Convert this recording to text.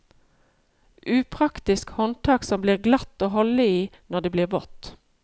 Upraktisk håndtak som blir glatt å holde i når det blir vått.